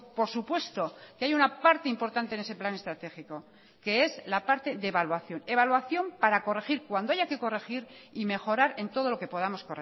por supuesto que hay una parte importante en ese plan estratégico que es la parte de evaluación evaluación para corregir cuando haya que corregir y mejorar en todo lo que podamos